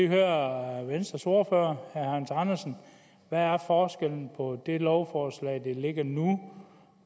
høre venstres ordfører herre hans andersen hvad er forskellen på det lovforslag der ligger nu